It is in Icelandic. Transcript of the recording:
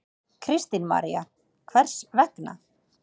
Kristín María: Hvers vegna?